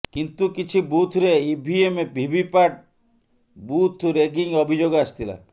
କିନ୍ତୁ କିଛି ବୁଥରେ ଇଭିଏମ ଭିଭିପାଟ୍ ବୁଥ ରେଗିଂ ଅଭିଯୋଗ ଆସିଥିଲା